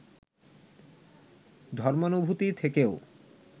ধর্মানুভূতি থেকেও